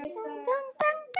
Elsku Gunna amma.